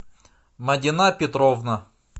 мадина петровна